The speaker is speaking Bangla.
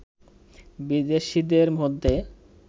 বিদেশিদের মধ্যে